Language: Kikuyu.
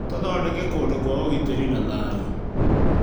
Tũthondeke kũndũ kwa ũgitĩri na thayũ.